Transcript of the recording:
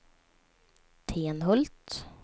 Tenhult